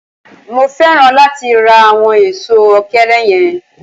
Mo féràn láti ra àwọn èso òkèèrè yẹn.